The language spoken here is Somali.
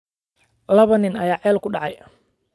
Laba nin ayaa ceel ku dhacay